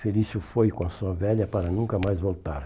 Felício foi com a sua velha para nunca mais voltar.